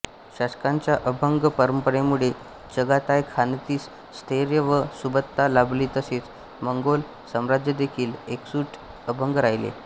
शासकांच्या अभंग परंपरेमुळे चगाताय खानतीस स्थैर्य व सुबत्ता लाभली तसेच मंगोल साम्राज्यदेखील एकजूट अभंग राहिले